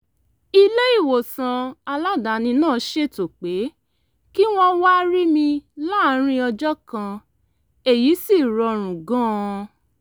ilé-ìwòsàn aládàáni náà ṣètò pé kí wọ́n wá rí mi láàárín ọjọ́ kan èyí sì rọrùn gan-an